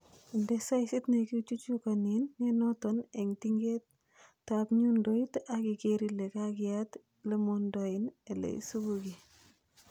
Inde saisit nekichuchukonen nenoton en tingetab nyundoit ak iker ile kakiyat elemondoen ele isipugee.